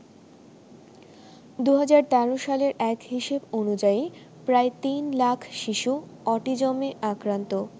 ২০১৩ সালের এক হিসেব অনুযায়ী প্রায় ৩ লাখ শিশু অটিজমে আক্রান্ত।